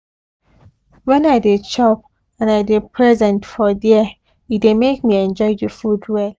when i dey chop and i dey present for there e dey make me enjoy the food well